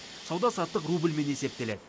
сауда саттық рубльмен есептеледі